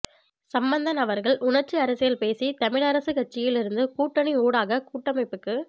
சம்பந்தன் அவர்கள் உணர்ச்சி அரசியல் பேசி தமிழரசுக் கட்சியில் இருந்து கூட்டணி ஊடாக கூட்டமைப்புக்கு